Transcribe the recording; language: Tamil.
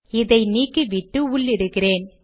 இதை நீக்கிவிட்டு உள்ளிடுகிறேன்